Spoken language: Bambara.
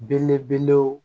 Belebelew